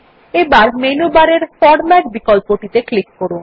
এবার মেনু বারের ফরম্যাট বিকল্পত়ে ক্লিক করুন